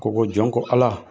Ko ko jɔn ko Ala